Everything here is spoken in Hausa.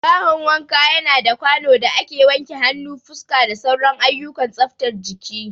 Bahon wanka yana da kwano da ake wanke hannu, fuska, da sauran ayyukan tsaftar jiki.